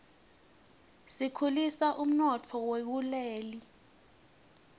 tikhulisa umnotfo wakuleli